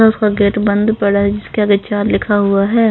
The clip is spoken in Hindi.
उसका गेट बंद पड़ा है जिसके आगे चार लिखा हुआ है.